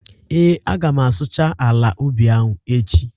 Ee, Aga m asụcha ala ubi ahụ echi